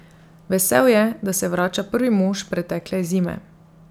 Vesel je, da se vrača prvi mož pretekle zime.